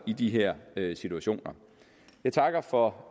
i de her situationer jeg takker for